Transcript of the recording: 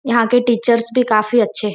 यहाँ के टीचरस भी काफ़ी अच्छे --